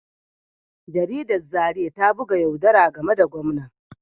Jaridar Zariya ta buga yaudara game da gwamnan